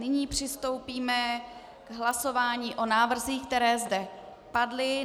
Nyní přistoupíme k hlasování o návrzích, které zde padly.